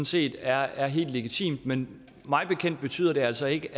set er er helt legitimt men mig bekendt betyder det altså ikke